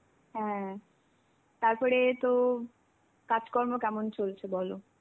হ্যাঁ, তারপরে তো কাজকর্ম কেমন চলছে বলো.